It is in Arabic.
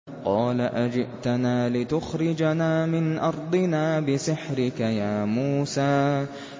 قَالَ أَجِئْتَنَا لِتُخْرِجَنَا مِنْ أَرْضِنَا بِسِحْرِكَ يَا مُوسَىٰ